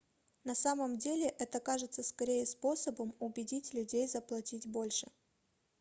на самом деле это кажется скорее способом убедить людей заплатить больше